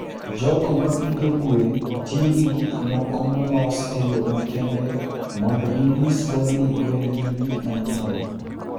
jogo ma pidho gwen tiyo gi gik moko molos e yo makende mondo ginyisgo ni gwen gin gik manyien.